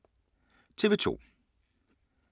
TV 2